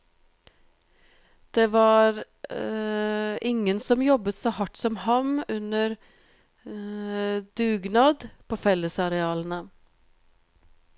Det var ingen som jobbet så hardt som ham under dugnad på fellesarealene.